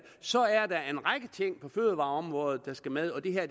så er der en række ting på fødevareområdet der skal med og det her